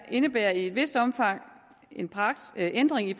indebærer i et vist omfang en ændring i